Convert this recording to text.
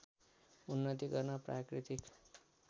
उन्नति गर्न प्राकृतिक